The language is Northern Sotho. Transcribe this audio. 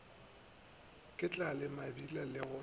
ke tlale mebila le go